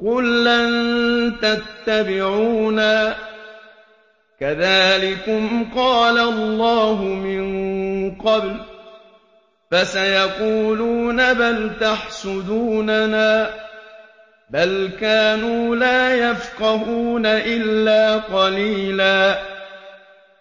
قُل لَّن تَتَّبِعُونَا كَذَٰلِكُمْ قَالَ اللَّهُ مِن قَبْلُ ۖ فَسَيَقُولُونَ بَلْ تَحْسُدُونَنَا ۚ بَلْ كَانُوا لَا يَفْقَهُونَ إِلَّا قَلِيلًا